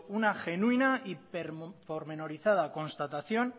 genuina y pormenorizada constatación